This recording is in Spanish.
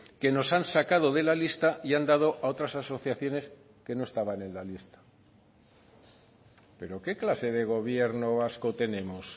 que nos han sacado de la lista y han dado a otras asociaciones que no estaban en la lista pero qué clase de gobierno vasco tenemos